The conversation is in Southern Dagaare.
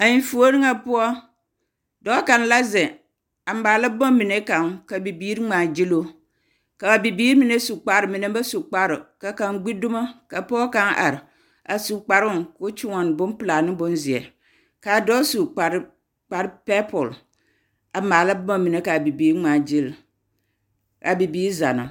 A enfuori ŋa poɔ, dɔɔ kaŋ la zeŋ a maale bomine kaŋ ka bibiiri ŋmaa gyiluu. Kaa bibiir mine su kpar, mine ba su kpar. Ka kaŋ gbi dumo, ka pɔge kaŋ are a su kparoŋ, koo kyoɔne bompelaa ne bomzeɛ. Kaa dɔɔ su kpar, kpar pɛpol a maala boma mine kaa bibiiri ŋmãã gyil. Kaa bibiiri zanna.